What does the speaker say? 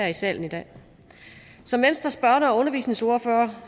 i salen i dag som venstres børne og undervisningsordfører